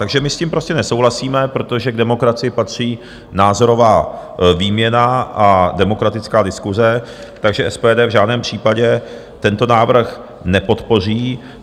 Takže my s tím prostě nesouhlasíme, protože k demokracii patří názorová výměna a demokratická diskuse, takže SPD v žádném případě tento návrh nepodpoří.